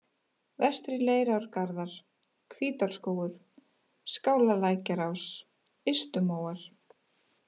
Vestri Leirárgarðar, Hvítárskógur, Skálalækjarás, Ystumóar